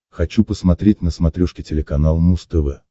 хочу посмотреть на смотрешке телеканал муз тв